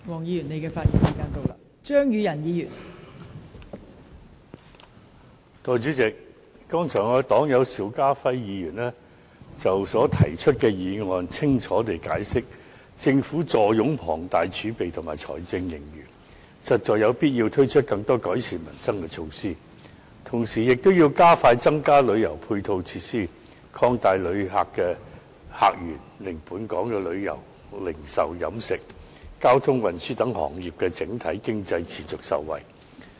代理主席，剛才我的黨友邵家輝議員，已就他所提出的議案清楚地解釋，政府坐擁龐大儲備及財政盈餘，實在有必要推出更多改善民生的措施，同時亦要加快增加旅遊配套設施，擴大旅客客源，令本港旅遊、零售、飲食、交通、運輸等行業的整體經濟能持續受惠。